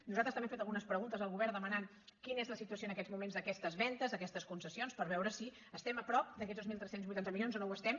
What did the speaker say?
nosaltres també hem fet algunes preguntes al govern demanant quina és la situació en aquests mo·ments d’aquestes vendes d’aquestes concessions per veure si estem a prop d’aquests dos mil tres cents i vuitanta milions o no ho estem